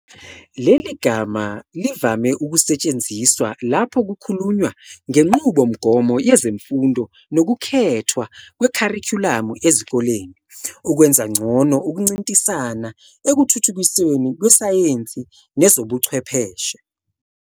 Leli gama livame ukusetshenziswa lapho kukhulunywa ngenqubomgomo yezemfundo nokukhethwa kwekharikhulamu ezikoleni ukwenza ngcono ukuncintisana ekuthuthukisweni kwesayensi nezobuchwepheshe.